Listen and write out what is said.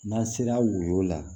N'an sera woyo la